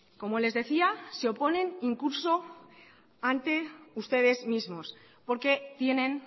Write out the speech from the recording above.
como les decía se oponen incluso ante ustedes mismos porque tienen